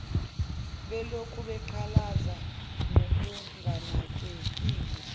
belokhu beqalaza ngokunganakekile